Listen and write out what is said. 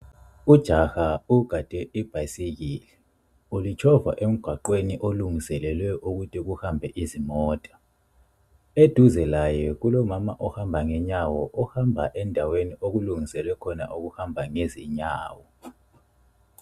Ujaha ugade ibhayisikili, ulitshova emgwaqweni olungiselwe ukuthi kuhamba izimota. Eduze laye kulomama ohamba ngenyawo ohamba endaweni okulungiselwe khona ukuhamba ngezinyawo.